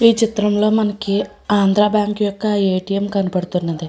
ఈ చిత్రం లో మనకి ఆంద్ర బ్యాంకు యొక్క ఎ.టి.ఎం. కనబడుతున్నది.